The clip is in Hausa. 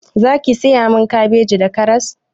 Zaki saya min kabeji da karas?